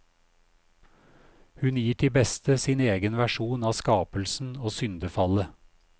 Hun gir til beste sin egen versjon av skapelsen og syndefallet.